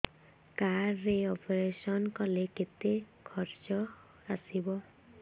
card ରେ operation କଲେ କେତେ ଖର୍ଚ ଆସିବ